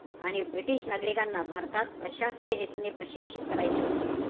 आणि british नागरिकांना भारतात प्रशासकीय हेतूने प्रशिक्षित करायचे होते.